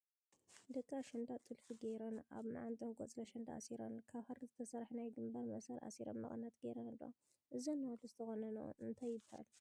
ደቂ ኣሸንዳ ጥልፈን ጌረን፣ ኣብ ማዓንጠአን ቆፅሊ ኣሸንዳ ኣሲረን ፣ ካብ ሃሪ ዝተሰርሐ ናይ ግምባር መእሰሪ ኣሲረን መቀነት ጌረን ኣለዋ ። እዘን ኣዋልድ ዝተቆነንኦ እንታይ ይበሃል?